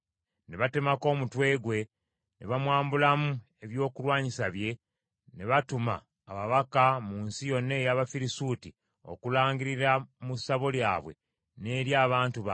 Ne batemako omutwe gwe ne bamwambulamu ebyokulwanyisa bye, ne batuma ababaka mu nsi yonna ey’Abafirisuuti okulangirira mu ssabo lyabwe, n’eri abantu baabwe.